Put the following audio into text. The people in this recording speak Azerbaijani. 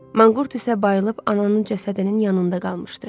Manqurt isə bayılıb ananın cəsədinin yanında qalmışdı.